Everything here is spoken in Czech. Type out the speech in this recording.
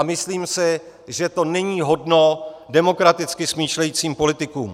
A myslím si, že to není hodno demokraticky smýšlejících politiků.